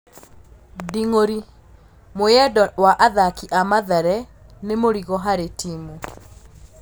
Nding'uri: Mwiyendo wa athaki a Mathare nĩ mũrigo harĩ timu